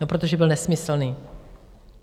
No protože byl nesmyslný.